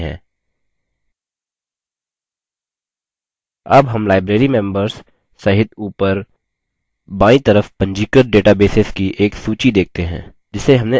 अब हम librarymembers सहित ऊपर बायीं तरफ पंजीकृत databases की एक सूची देखते हैं जिसे हमने अभी बनाया है